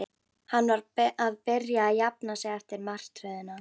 Hann var að byrja að jafna sig eftir martröðina.